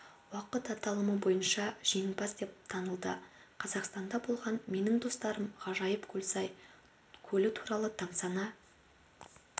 уақыт аталымы бойынша жеңімпаз деп танылды қазақстанда болған менің достарым ғажайып көлсай көлі туралы тамсана